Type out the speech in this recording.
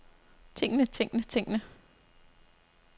tingene tingene tingene